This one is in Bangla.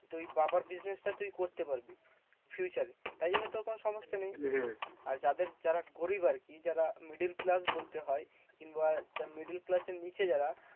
তুই বাবার business টা তুই করতে পারবি future এ। তাই জন্য তোর কোনো সমস্যা নেই। আর যাদের যারা গরিব আরকি, যারা middle class বলতে হয়, কিংবা একটা middle class এর নিচে যারা